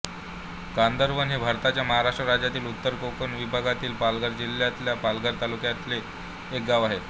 कांदरवन हे भारताच्या महाराष्ट्र राज्याच्या उत्तर कोकण विभागातील पालघर जिल्ह्यातल्या पालघर तालुक्यातले एक गाव आहे